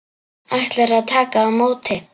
Ætlar að taka á móti.